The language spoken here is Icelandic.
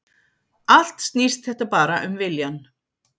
Allt snýst þetta bara um viljann